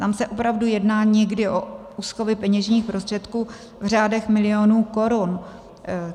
Tam se opravdu jedná někdy o úschovy peněžních prostředků v řádech milionů korun.